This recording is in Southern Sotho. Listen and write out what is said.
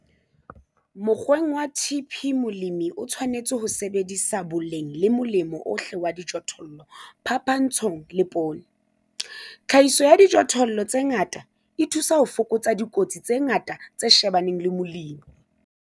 Mokgweng wa TP molemi o tshwanetse ho sebedisa boleng le molemo ohle wa dijothollo phapantshong le poone. Tlhahiso ya dijothollo tse ngata e thusa ho fokotsa dikotsi tse ngata tse shebaneng le molemi.